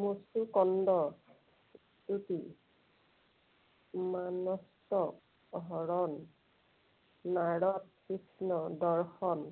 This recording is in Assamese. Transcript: মুচুকুন্দৰ স্তুতি, হৰণ, নাৰদৰ কৃষ্ণ দৰ্শন,